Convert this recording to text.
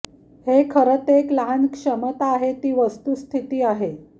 हे खरं ते एक लहान क्षमता आहे ही वस्तुस्थिती आहे